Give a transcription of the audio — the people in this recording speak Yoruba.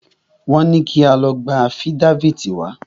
Wọ́n ní kí a lọ gba afídáfìtì wá.